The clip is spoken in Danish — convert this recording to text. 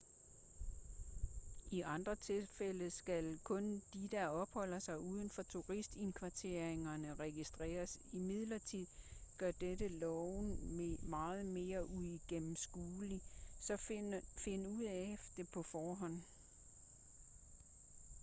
i andre tilfælde skal kun de der opholder sig uden for turistindkvarteringer registreres imidlertid gør dette loven meget mere uigennemskuelig så find ud af det på forhånd